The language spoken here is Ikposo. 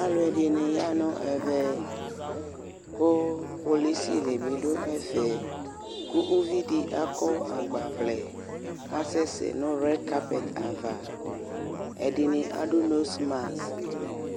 ɑluedini yanu ɛveku kpolusi dibi duefe ku uvidi akɔ ɑgbawle ɑsɛsɛ nuwerkape va edini ɛdini ɑdunosmas